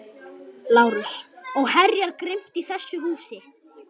LÁRUS: Og herjar grimmt í þessu húsi.